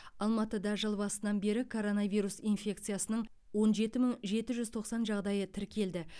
алматыда жыл басынан бері коронавирус инфекциясының он жеті мың жеті жүз тоқсан жағдайы тіркелді